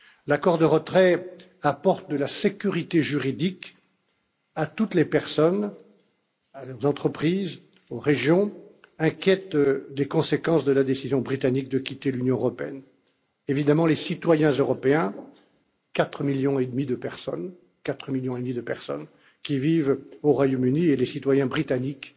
L'accord de retrait apporte de la sécurité juridique à toutes les personnes, aux entreprises, aux régions inquiètes des conséquences de la décision britannique de quitter l'Union européenne évidemment, les citoyens européens, 4 millions et demi de personnes qui vivent au Royaume Uni et les citoyens britanniques